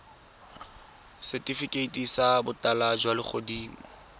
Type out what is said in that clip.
setifikeiti sa botala jwa legodimo